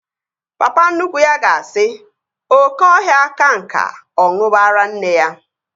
Papa nnukwu ya ga-asị, oké ọhịa ka nka, ọ ṅuba ara nne ya